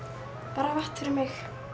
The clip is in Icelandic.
bara vatn fyrir mig